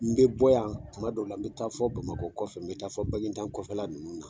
N be bɔ yan tuma dɔw la n be taa fɔ bamakɔ kɔfɛ ,n be taa fɔ bagida kɔfɛla nunnu na.